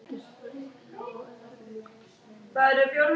Gárar eru vinsæl gæludýr og líklega algengustu búrfuglar á Íslandi.